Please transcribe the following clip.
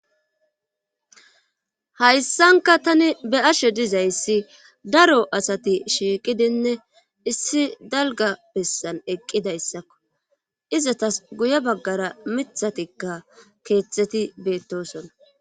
hayssanka tani be ashe dizayssi daro asati shiiqidinne issi dalga bessan eqqida issakko izatas guye baggara mithatikka keeththeti beettosona